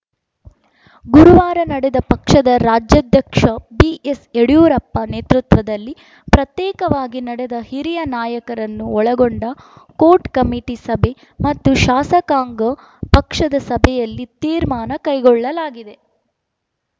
ಗುರುವಾರ ನಡೆದ ಪಕ್ಷದ ರಾಜ್ಯಾಧ್ಯಕ್ಷ ಬಿಎಸ್‌ಯಡಿಯೂರಪ್ಪ ನೇತೃತ್ವದಲ್ಲಿ ಪ್ರತ್ಯೇಕವಾಗಿ ನಡೆದ ಹಿರಿಯ ನಾಯಕರನ್ನು ಒಳಗೊಂಡ ಕೋರ್‌ ಕಮಿಟಿ ಸಭೆ ಮತ್ತು ಶಾಸಕಾಂಗ ಪಕ್ಷದ ಸಭೆಯಲ್ಲಿ ತೀರ್ಮಾನ ಕೈಗೊಳ್ಳಲಾಗಿದೆ